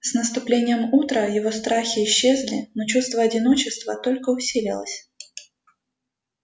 с наступлением утра его страхи исчезли но чувство одиночества только усилилось